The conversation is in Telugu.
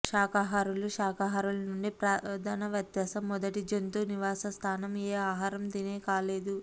శాకాహారులు శాకాహారులు నుండి ప్రధాన వ్యత్యాసం మొదటి జంతు నివాసస్థానం ఏ ఆహారం తినే కాలేదు